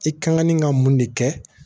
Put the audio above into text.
I kan ŋ'i ka mun de kɛ